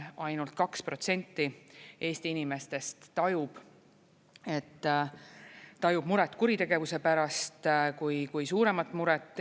Ainult kaks protsenti Eesti inimestest tajub muret kuritegevuse pärast kui suuremat muret.